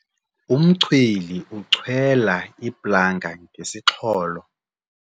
Umchweli uchwela iplanga ngesixholo.